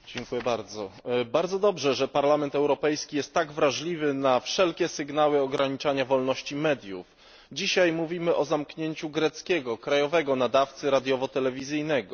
Pani Przewodnicząca! Bardzo dobrze, że Parlament Europejski jest tak wrażliwy na wszelkie sygnały ograniczania wolności mediów. Dzisiaj mówimy o zamknięciu greckiego krajowego nadawcy radiowo telewizyjnego.